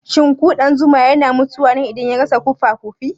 Shin ƙudan zuma yana mutuwane idan ya rasa fukafuki